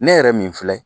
Ne yɛrɛ min filɛ